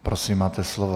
Prosím, máte slovo.